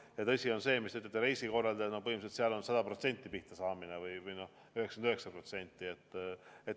No tõsi on see, mis te ütlete, et reisikorraldajad on 100% või 99% pihta saanud.